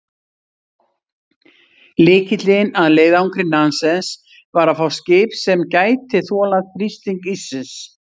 Lykillinn að leiðangri Nansens var að fá skip sem gæti þolað þrýsting íssins.